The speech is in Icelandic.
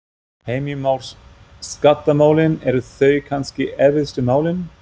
Heimir Már: Skattamálin, eru þau kannski erfiðustu málin?